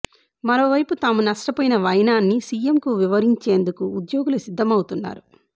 మరోవైపు తాము నష్టపోయిన వైనాన్ని సీఎంకు వి వరించేందుకు ఉద్యోగులు సిద్ధమవుతున్నారు